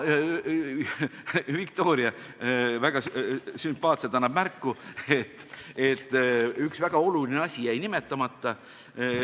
Viktoria annab väga sümpaatselt märku, et üks väga oluline asi jäi nimetamata.